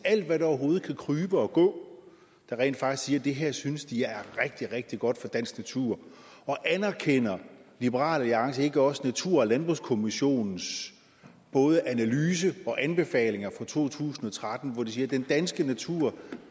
at alt hvad der overhovedet kan krybe og gå rent faktisk det her synes de er rigtig rigtig godt for dansk natur anerkender liberal alliance ikke også natur og landbrugskommissionens både analyse og anbefalinger fra to tusind og tretten hvor de siger at den danske natur